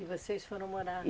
E vocês foram morar.